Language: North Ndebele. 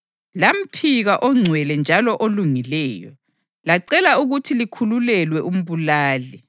Lamphika oNgcwele njalo oLungileyo, lacela ukuthi likhululelwe umbulali.